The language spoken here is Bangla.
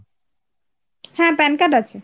হ্যাঁ pan card আছে